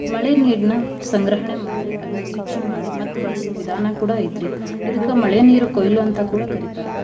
ಮಳೆ ನೀರ್ನ ಸಂಗ್ರಹಣೆ ಮಾಡಿ ಅದ್ನ ಶುಚಿ ಮಾಡಿ ಮತ್ತ್ ಬಳಸೋ ವಿಧಾನ ಕೂಡ ಐತ್ರಿ. ಇದಕ್ಕ ಮಳೆ ನೀರು ಕೊಯ್ಲು ಅಂತ ಕೂಡ ಕರೀತಾರ.